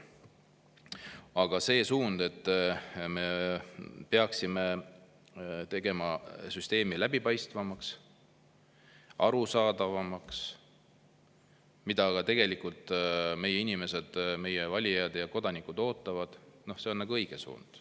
Aga see, et me peaksime tegema süsteemi läbipaistvamaks, arusaadavamaks, mida tegelikult meie inimesed, meie valijad ja kodanikud ootavad, on õige suund.